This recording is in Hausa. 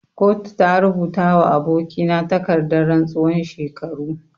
Kotu ta rubuta wa aboki na takardan rantsuwan shekaru.